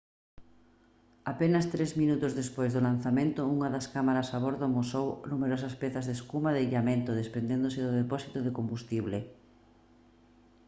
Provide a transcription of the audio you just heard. apenas 3 minutos despois do lanzamento unha das cámaras a bordo amosou numerosas pezas de espuma de illamento desprendéndose do depósito de combustible